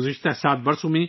گذشتہ 7 برسوں میں